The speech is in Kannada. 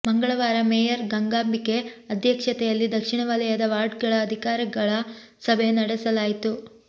ಮಂಗಳವಾರ ಮೇಯರ್ ಗಂಗಾಂಬಿಕೆ ಅಧ್ಯಕ್ಷತೆಯಲ್ಲಿ ದಕ್ಷಿಣ ವಲಯದ ವಾರ್ಡ್ಗಳ ಅಧಿಕಾರಿಗಳ ಸಭೆ ನಡೆಸಲಾಯಿತು